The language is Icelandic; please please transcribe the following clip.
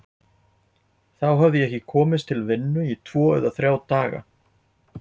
Þá hafði ég ekki komist til vinnu í tvo eða þrjá daga.